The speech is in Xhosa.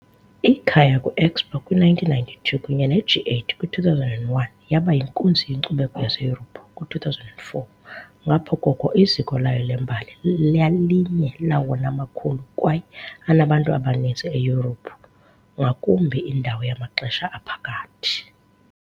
Ikhaya kwi- Expo kwi-1992 kunye ne- G8 kwi-2001, yaba yinkunzi yenkcubeko yaseYurophu kwi-2004. Ngapha koko, iziko layo lembali lalinye lawona makhulu kwaye anabantu abaninzi eYurophu, ngakumbi indawo yamaxesha aphakathi.